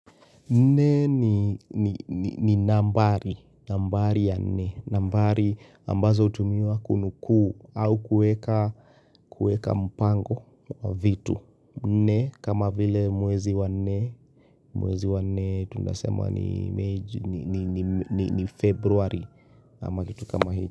Nne ni nambari, nambari ya nne, nambari ambazo hutumiwa kunukuu au kueka mpango wa vitu. Nne kama vile mwezi wa nne, mwezi wa nne tunasema ni mei ni ni February ama kitu kama.